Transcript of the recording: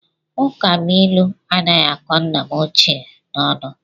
Ụkabụilu anaghị akọ nna m ochie n'ọnụ